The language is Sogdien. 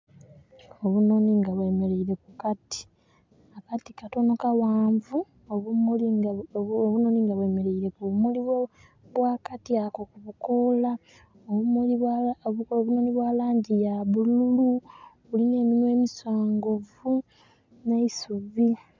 Obunoni nga bwemereire ku kati. Akati katono kawanvu obunoni nga bwemereire ku bimuli bwakati ako kubikola. Obumuli bwa langi ya bulululu. Bulina eminwa emisongovu n' eisubi